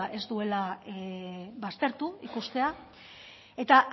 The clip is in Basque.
ez duela baztertu ikustea eta